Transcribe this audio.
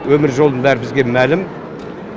өмір жолының бәрі бізге мәлім